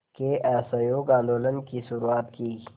के असहयोग आंदोलन की शुरुआत की